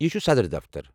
یہِ چھُ صدر دفتر۔